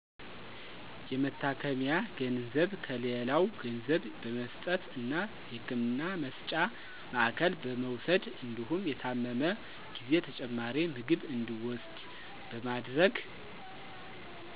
የመታከሚያ ገንዘብ ከሌላው ገንዘብ በመስጠት እና የህክምና መስጫ ማዕከል በመውሰድ እንዲሁም የታመመ ጊዜ ተጨማሪ ምግብ እንዲውስድ በማድረግ